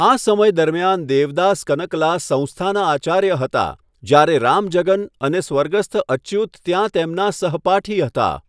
આ સમય દરમિયાન દેવદાસ કનકલા સંસ્થાના આચાર્ય હતા, જ્યારે રામજગન અને સ્વર્ગસ્થ અચ્યુત ત્યાં તેમના સહપાઠી હતા.